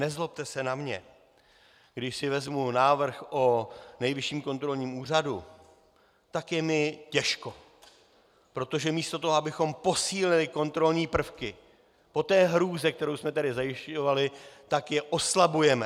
Nezlobte se na mě, když si vezmu návrh o Nejvyšším kontrolním úřadu, tak je mi těžko, protože místo toho, abychom posílili kontrolní prvky, po té hrůze, kterou jsme tady zajišťovali, tak je oslabujeme.